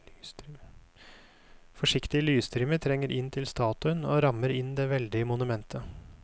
Forsiktige lysstrimer trenger inn til statuen og rammer inn det veldige monumentet.